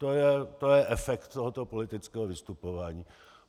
To je efekt tohoto politického vystupování.